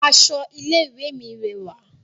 Aṣọ ilé ìwé mi rẹwà